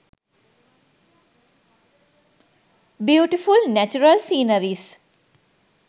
beautiful natural scenaries